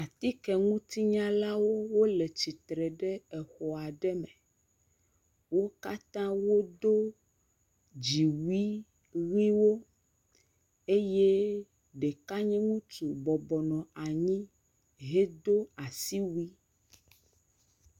Atikenunyalawo wole tsitre le exɔ aɖe me, wo katã wodo dziwui ʋiwo eye ɖeka nye ŋutsu bɔbɔbnɔ anyi hedo asi wui.